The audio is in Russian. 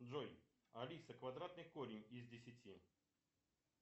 джой алиса квадратный корень из десяти